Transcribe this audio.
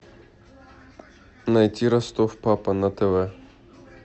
найти ростов папа на тв